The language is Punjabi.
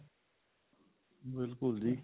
ਬਿਲਕੁਲ ਜੀ